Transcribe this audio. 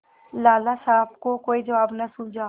लाला साहब को कोई जवाब न सूझा